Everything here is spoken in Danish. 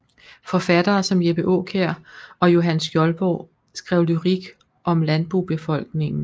Forfattere som Jeppe Aakjær og Johan Skjoldborg skrev lyrik om landbobefolkningen